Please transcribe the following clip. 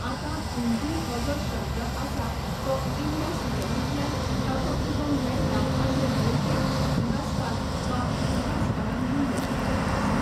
आतां हिंदू हो जो शब्द आसा तो इंडस वॅलिंतल्यान ताचो उगम मेळटा अशें भोवतेक इतिहासकार वा इतिहासकारांनी म्हटलेलें आसा.